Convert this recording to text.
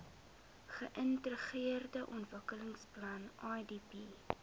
geintegreerde ontwikkelingsplan idp